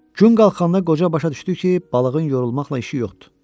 Gün qalxanda qoca başa düşdü ki, balığın yorulmaqla işi yoxdur.